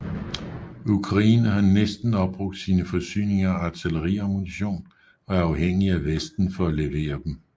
Ukraine har næsten opbrugt sine forsyninger af artilleriammunition og er afhængige af Vesten for at levere dem